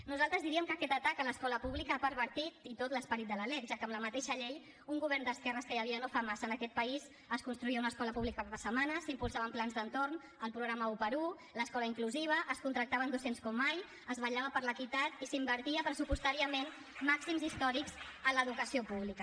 nosaltres diríem que aquest atac a l’escola pública ha pervertit i tot l’esperit de la lec ja que amb la mateixa llei un govern d’esquerres que hi havia no fa massa en aquest país ens construïa una escola pública per setmana s’impulsaven plans d’entorn el programa 1x1 l’escola inclusiva es contractaven docents com mai es vetllava per l’equitat i s’invertia pressupostàriament màxims històrics en l’educació pública